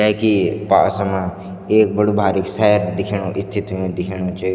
जैकी पास मां एक बड़ू भारिक सैद दिखेणु स्थित ह्यु दिखेणु च।